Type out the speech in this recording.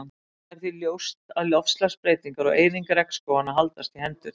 Það er því ljóst að loftslagsbreytingar og eyðing regnskóganna haldast í hendur.